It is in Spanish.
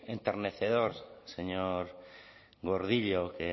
enternecedora señor gordillo que